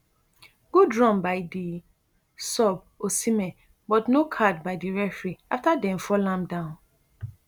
good run by di sub osihmen but no card by di referee afta dem fall am down